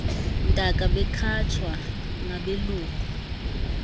ntaka bekhatshwa ngabelungu